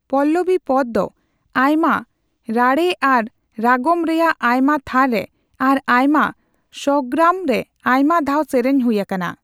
ᱯᱚᱞᱞᱚᱵᱤ ᱯᱚᱫᱽ ᱫᱚ ᱟᱭᱢᱟ ᱨᱟᱹᱲᱨᱮ ᱟᱨ ᱨᱟᱜᱚᱢ ᱨᱮᱭᱟᱜ ᱟᱭᱢᱟ ᱛᱷᱟᱨ ᱨᱮ ᱟᱨ ᱟᱭᱢᱟ ᱥᱣᱚᱨᱜᱨᱟᱢ ᱨᱮ ᱟᱭᱢᱟ ᱫᱷᱟᱣ ᱥᱮᱨᱮᱧ ᱦᱩᱭ ᱟᱠᱟᱱᱟ ᱾